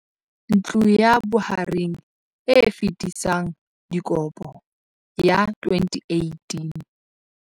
Ntlo ya Bohareng e Fetisang Dikopo CACH ya 2018.